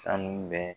Sanu bɛ